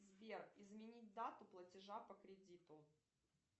сбер изменить дату платежа по кредиту